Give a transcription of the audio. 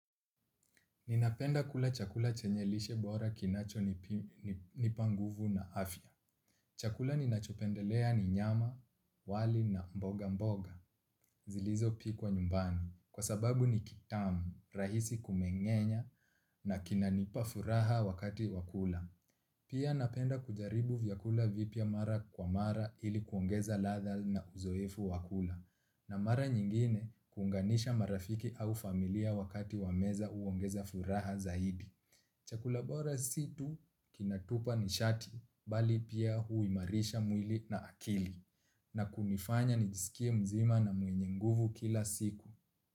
Ninapenda kula chakula chenye lishe bora kinachonipa nguvu na afya. Chakula ninachopendelea ni nyama, wali na mboga mboga, zilizopikwa nyumbani. Kwa sababu ni kitamu, rahisi kumengenya na kinanipa furaha wakati wa kula. Pia napenda kujaribu vyakula vipya mara kwa mara ili kuongeza ladha na uzoefu wa kula. Na mara nyingine kuunganisha marafiki au familia wakati wa meza huongeza furaha zaidi. Chakula bora si tu kinatupa nishati, bali pia huimarisha mwili na akili. Na kunifanya nijisikie mzima na mwenye nguvu kila siku.